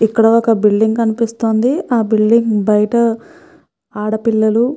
ఇక్కడ ఒక బిల్డింగ్ కనిపిస్తుంది ఆ బిల్డింగ్ బయట ఆడపిల్లలు --